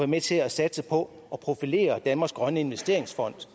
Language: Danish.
med til at satse på at profilere danmarks grønne investeringsfond